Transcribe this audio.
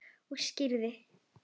Og skyrið!